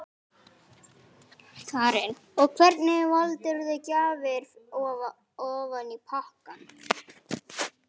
Karen: Og hvernig valdirðu gjafir ofan í pakkann?